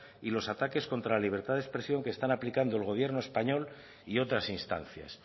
y los ataques contra la libertad de expresión que están aplicando el gobierno español y otras instancias